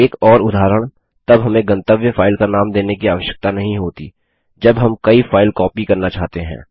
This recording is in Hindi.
एक और उदाहरण तब हमें गंतव्य फाइल का नाम देने की आवश्यकता नहीं होती जब हम कई फाइल कॉपी करना चाहते हैं